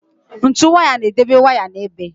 Ntu waya na-edobe waya n'ebe.